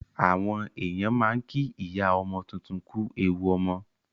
Àwọn èèyàn máa ń kí ìyá ọmọ tuntun kú ewu ọmọ